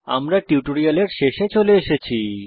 আমরা টিউটোরিয়ালের শেষে চলে এসেছি